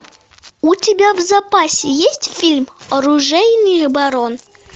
у тебя в запасе есть фильм оружейный барон